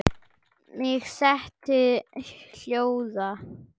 Mig setti hljóða.